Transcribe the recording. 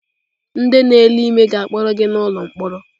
Ndị na-ele ime ga-akpọrọ gị n'ụlọ mkpọrọ.